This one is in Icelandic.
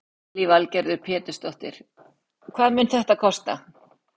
Lillý Valgerður Pétursdóttir: Hvað mun þetta kosta?